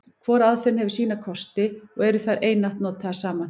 Hvor aðferðin hefur sína kosti, og eru þær einatt notaðar saman.